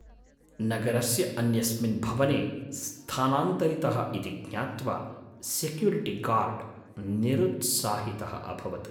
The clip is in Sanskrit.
नगरस्य अन्यस्मिन् भवने स्थानान्तरितः इति ज्ञात्वा सेक्युरिटिगार्ड् निरुत्साहितः अभवत्।